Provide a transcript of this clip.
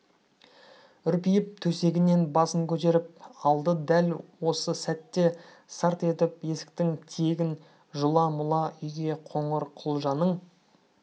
үрпиіп төсегінен басын көтеріп алды дәл осы сәтте сарт етіп есіктің тиегін жұла-мұла үйге қоңырқұлжаның